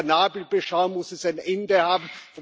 Mit der Nabelbeschau muss es ein Ende haben.